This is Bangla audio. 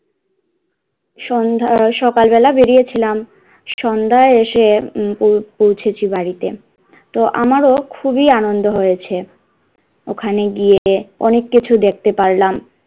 সন্ধ্যা, সকাল বেলায় বেরিয়েছিলাম সন্ধ্যায় এসে পৌ~পৌঁছেছি বাড়িতে তো আমারও খুবই আনন্দ হয়েছে, ওখানে গিয়ে অনেক কিছু দেখতে পারলাম,